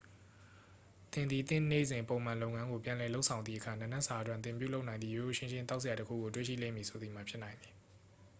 သင်သည် သင့်နေ့စဉ်ပုံမှန်လုပ်ငန်းကို ပြန်လည်လုပ်ဆောင်သည့်အခါ နံနက်စာအတွက် သင်ပြုလုပ်နိုင်သည့် ရိုးရိုးရှင်းရှင်း သောက်စရာတစ်ခုကို တွေ့ရှိလိမ့်မည်ဆိုသည်မှာ ဖြစ်နိုင်သည်